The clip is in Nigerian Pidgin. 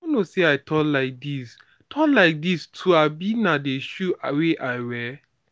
i no know say i tall like dis tall like dis too abi na the shoe wey i wear